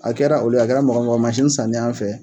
A kɛra olu ye, a kɛra mɔgɔ o mɔgɔ ye mansin san ne an fɛ.